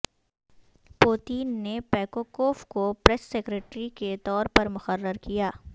Putin نے پیکوکوف کو پریس سکریٹری کے طور پر مقرر کیا